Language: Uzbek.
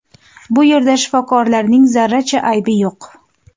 Bu yerda shifokorlarning zarracha aybi yo‘q.